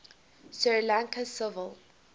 sri lankan civil